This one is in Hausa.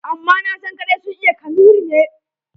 Amma nasan kaɗai sun iya Kanuri ne.